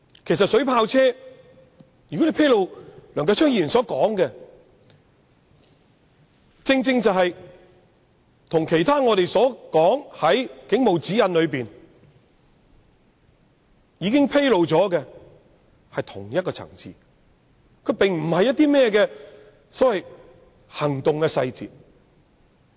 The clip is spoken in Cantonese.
梁繼昌議員要求披露的水炮車資料，正正與警察守則現已披露的事項屬於同一層次，並非所謂的"行動細節"。